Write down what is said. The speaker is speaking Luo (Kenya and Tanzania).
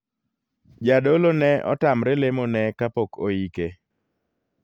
Jadolo ne otamre lemo ne kapok oike.